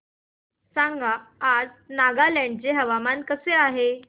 सांगा आज नागालँड चे हवामान कसे आहे